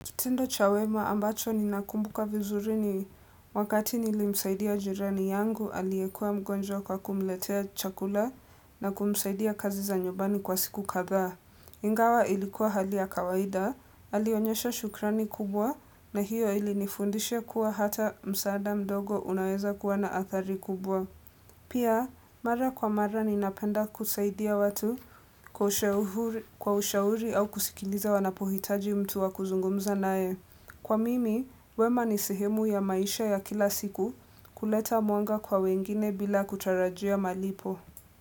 Kitendo cha wema ambacho ninakumbuka vizuri ni wakati nilimsaidia jirani yangu aliyekua mgonjwa kwa kumletea chakula na kumsaidia kazi za nyumbani kwa siku kadhaa. Ingawa ilikuwa hali ya kawaida, alionyesha shukrani kubwa na hiyo ili nifundisha kuwa hata msaada ndogo unaweza kuwa na athari kubwa. Pia, mara kwa mara ninapenda kusaidia watu kwa ushauri au kusikiliza wanapohitaji mtu wa kuzungumza naye. Kwa mimi, wema ni sehemu ya maisha ya kila siku kuleta mwanga kwa wengine bila kutarajia malipo.